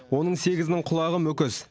оның сегізінің құлағы мүкіс